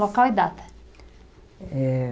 Local e data. Eh